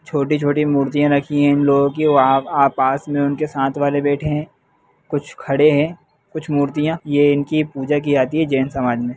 छोटी-छोटी मूर्तियां रखी है इन लोगों की वहाँ आ पास में उनके साथ वाले बैठे हैं कुछ खड़े हैं कुछ मूर्तियां ये इनकी पूजा की जाती है जैन समाज में।